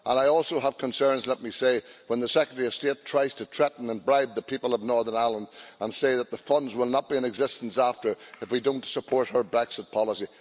And I also have concerns, let me say, when the Secretary of State tries to threaten and bribe the people of Northern Ireland and say that the funds will not be in existence afterwards if we don't support her Brexit policy.